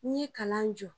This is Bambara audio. N'i ye kalan jɔ